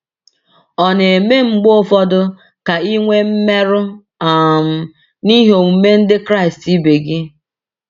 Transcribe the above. Ọ̀ na - eme mgbe ụfọdụ ka i nwee mmerụ um n’ihi omume ndị Kraịst ibe gị?